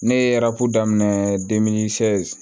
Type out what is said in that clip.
Ne ye daminɛ